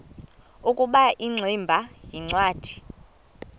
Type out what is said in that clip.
ukuba ingximba yincwadi